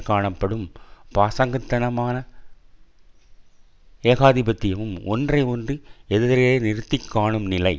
காணப்படும் பாசாங்குத்தனமான ஏகாதிபத்தியமும் ஒன்றையொன்று எதிரெ நிறுத்தி காணும் நிலை